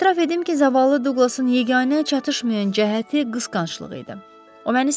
Etiraf edim ki, zavallı Douglasın yeganə çatışmayan cəhəti qısqanclığı idi.